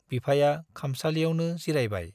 बिफाया खामसालियावनो जिरायबाय।